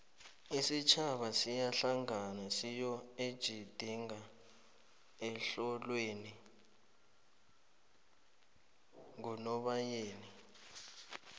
isitjhaba siyahlangana siyoejidinga ehlolweni ngonobayeni